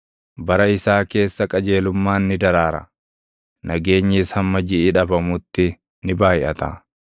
Bara isaa keessa qajeelummaan ni daraara; nageenyis hamma jiʼi dhabamutti ni baayʼata.